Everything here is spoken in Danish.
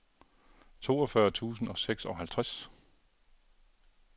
toogfyrre tusind og seksoghalvtreds